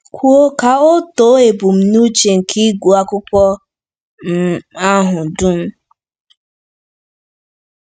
Kwuo ka o too ebumnuche nke ịgụ akwụkwọ um ahụ dum.